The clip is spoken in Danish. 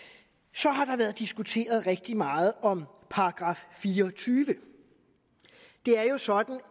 så har der været diskuteret rigtig meget om § fireogtyvende det er jo sådan